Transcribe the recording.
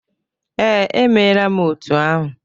Ee, emere m otu ahụ.